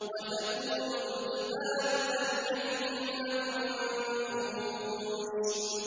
وَتَكُونُ الْجِبَالُ كَالْعِهْنِ الْمَنفُوشِ